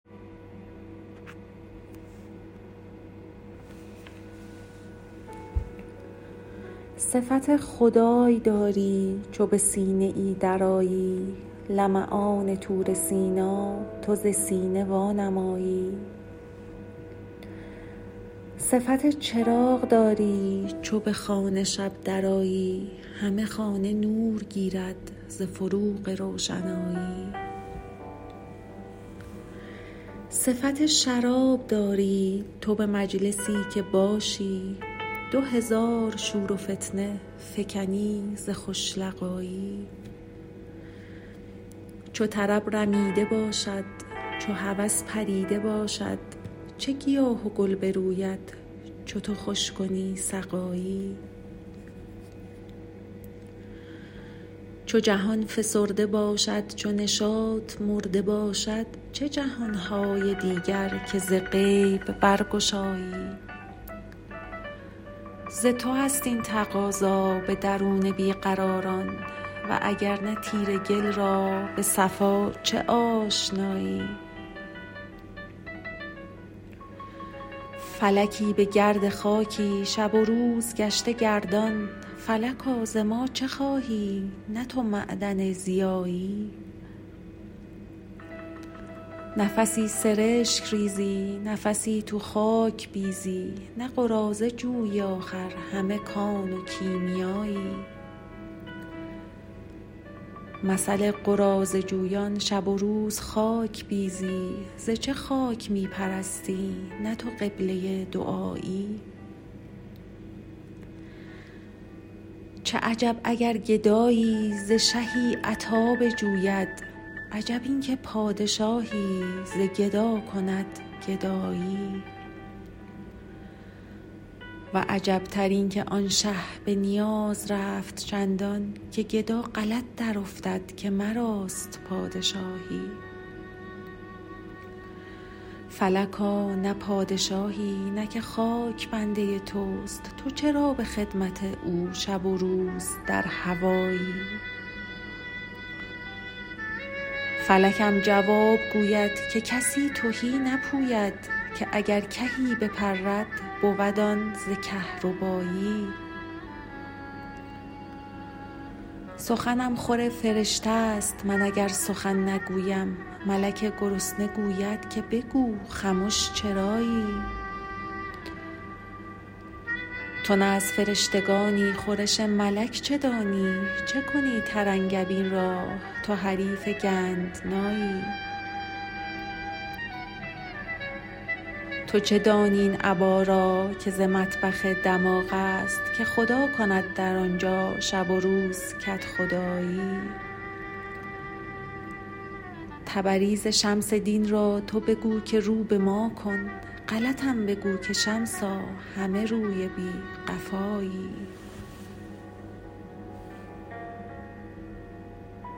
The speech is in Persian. صفت خدای داری چو به سینه ای درآیی لمعان طور سینا تو ز سینه وانمایی صفت چراغ داری چو به خانه شب درآیی همه خانه نور گیرد ز فروغ روشنایی صفت شراب داری تو به مجلسی که باشی دو هزار شور و فتنه فکنی ز خوش لقایی چو طرب رمیده باشد چو هوس پریده باشد چه گیاه و گل بروید چو تو خوش کنی سقایی چو جهان فسرده باشد چو نشاط مرده باشد چه جهان های دیگر که ز غیب برگشایی ز تو است این تقاضا به درون بی قراران و اگر نه تیره گل را به صفا چه آشنایی فلکی به گرد خاکی شب و روز گشته گردان فلکا ز ما چه خواهی نه تو معدن ضیایی نفسی سرشک ریزی نفسی تو خاک بیزی نه قراضه جویی آخر همه کان و کیمیایی مثل قراضه جویان شب و روز خاک بیزی ز چه خاک می پرستی نه تو قبله دعایی چه عجب اگر گدایی ز شهی عطا بجوید عجب این که پادشاهی ز گدا کند گدایی و عجبتر اینک آن شه به نیاز رفت چندان که گدا غلط درافتد که مراست پادشاهی فلکا نه پادشاهی نه که خاک بنده توست تو چرا به خدمت او شب و روز در هوایی فلکم جواب گوید که کسی تهی نپوید که اگر کهی بپرد بود آن ز کهربایی سخنم خور فرشته ست من اگر سخن نگویم ملک گرسنه گوید که بگو خمش چرایی تو نه از فرشتگانی خورش ملک چه دانی چه کنی ترنگبین را تو حریف گندنایی تو چه دانی این ابا را که ز مطبخ دماغ است که خدا کند در آن جا شب و روز کدخدایی تبریز شمس دین را تو بگو که رو به ما کن غلطم بگو که شمسا همه روی بی قفایی